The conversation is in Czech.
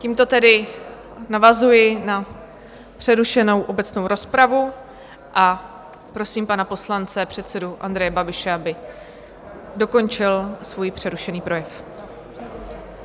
Tímto tedy navazuji na přerušenou obecnou rozpravu a prosím pana poslance, předsedu Andreje Babiše, aby dokončil svůj přerušený projev.